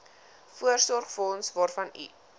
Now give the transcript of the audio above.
voorsorgsfonds waarvan u